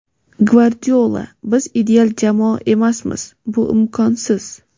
Gvardiola: Biz ideal jamoa emasmiz, bu imkonsiz.